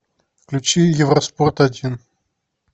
включи евроспорт один